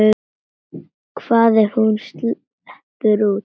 Hvað ef hún sleppur út?